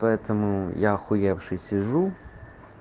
поэтому я ахуевший сижу